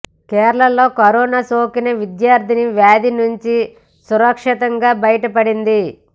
కేరళలో కరోనా సోకిన విద్యార్ధిని వ్యాధి నుంచి సురక్షితంగా భయటపడింది